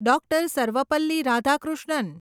Dr. Sarvepalli Radhakrishnan